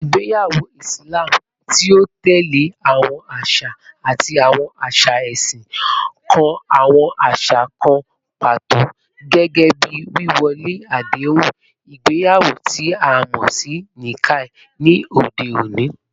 Igbeyawo Islam, ti o tẹle awọn aṣa ati awọn aṣa ẹsin, kan awọn aṣa kan pato, gẹgẹbi wíwọlé adehun igbeyawo ti a mọ si 'Nikah,' ni ode oni.